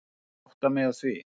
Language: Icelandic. Ég átta mig á því.